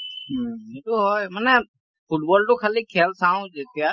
উম সেইটো হয় । মানে football টো খালি খেল চাওঁ যেতিয়া